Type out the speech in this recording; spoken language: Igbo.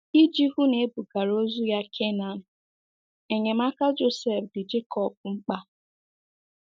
Iji hụ na e bugara ozu ya Canaan, enyemaka Josef dị Jekọb mkpa.